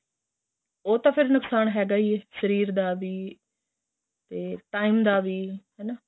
ਹੋ ਤੇ ਫ਼ਿਰ ਨੁਕਸ਼ਾਨ ਹੈਗਾ ਹੀ ਏ ਸ਼ਰੀਰ ਦਾ ਵੀ ਤੇ time ਦਾ ਵੀ ਹੈਨਾ